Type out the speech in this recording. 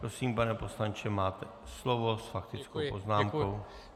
Prosím, pane poslanče, máte slovo s faktickou poznámkou.